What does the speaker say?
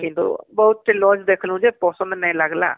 କିନ୍ତୁ ବହୁତ lodge ଦେଖଲୁ ଯେ ପସନ୍ଦ ନାଇଁ ଲାଗିଲା